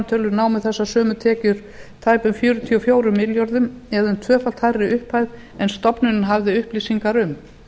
skattframtölum námu þessar sömu tekjur tæpum fjörutíu og fjórum milljörðum eða um tvöfalt hærri upphæð en stofnunin hafði upplýsingar um